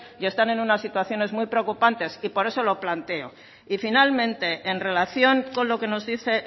y están en unas situaciones muy preocupantes y por eso lo planteo y finalmente en relación con lo que nos dice